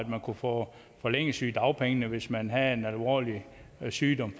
man kunne få forlænget sygedagpengene hvis man havde en alvorlig sygdom